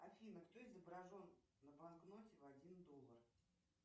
афина кто изображен на банкноте в один доллар